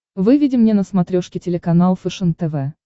выведи мне на смотрешке телеканал фэшен тв